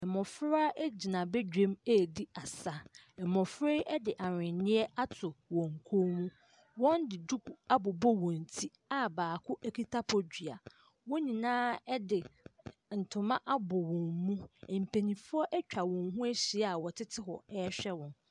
Mmɔfra gyina badwam redi asa Mmɔfra yi de ahweneɛ ato wɔn kɔn mu Wɔde duku abobɔ wɔn ti a baako kita bodua wɔn nyinaa de ntoma abɔ wɔn mu mpaninfoɔ atwa wɔn ho ahyia wɔtete hɔ rehwɛ wɔn.